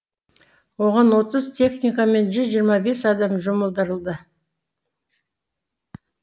оған отыз техника мен жүз жиырма бес адам жұмылдырылды